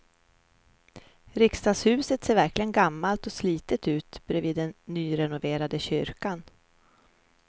Riksdagshuset ser verkligen gammalt och slitet ut bredvid den nyrenoverade kyrkan.